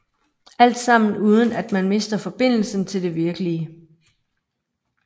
Alt sammen uden at man mister forbindelsen til det virkelige